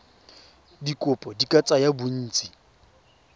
dikopo di ka tsaya bontsi